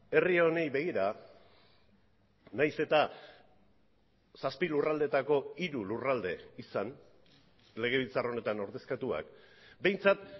herri honi begira nahiz eta zazpi lurraldeetako hiru lurralde izan legebiltzar honetan ordezkatuak behintzat